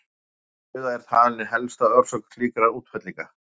Öflug suða er talin ein helsta orsök slíkra útfellinga.